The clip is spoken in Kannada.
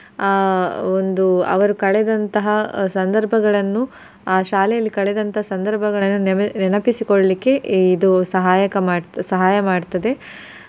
ಆಹ್ ಒಂದು ಅವರು ಕಳೆದಂತಹ ಸಂದರ್ಭಗಳನ್ನು ಆ ಶಾಲೆಯಲ್ಲಿ ಕಳೆದಂತ ಸಂದರ್ಭಗಳನ್ನು ನೆನ್~ ನೆನಪಿಸಿಕೊಳ್ಲಿಕ್ಕೆ ಇದು ಸಹಾಯಕ ಮಾಡ್ತ~ ಸಹಾಯ ಮಾಡ್ತದೆ.